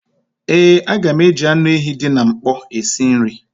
Ee, a ga m eji anụ ehi dị na mkpọ esi nri